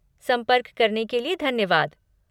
संपर्क करने के लिए धन्यवाद।